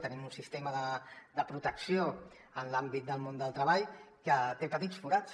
tenim un sistema de protecció en l’àmbit del món del treball que té petits forats